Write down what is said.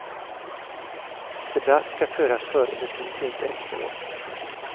Debatt ska föras före beslut, inte efteråt.